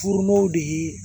Furumaw de ye